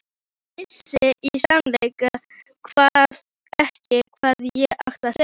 Vissi í sannleika sagt ekki hvað ég átti að segja.